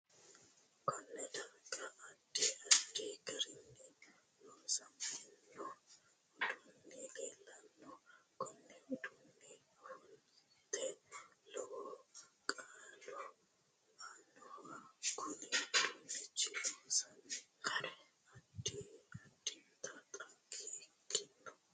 KOnne darga addi addi garinni loosamino uduuni leelanno kunu uduunino ofolatte lowo kaa'lo aanoho kunne uduunicho loonsooni gari addinta xagge ikkanno